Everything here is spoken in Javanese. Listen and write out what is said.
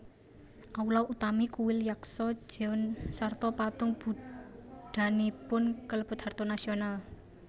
Aula utami kuil Yaksa jeon sarta patung Buddhanipun kalebet harta nasional